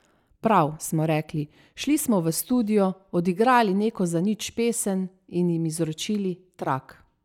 Prav, smo rekli, šli smo v studio, odigrali neko zanič pesem in jim izročili trak.